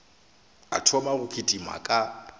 a thoma go kitima ka